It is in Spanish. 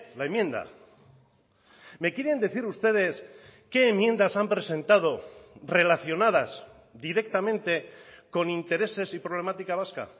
la enmienda me quieren decir ustedes qué enmiendas han presentado relacionadas directamente con intereses y problemática vasca